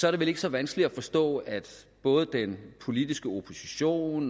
er det vel ikke så vanskeligt at forstå at både den politiske opposition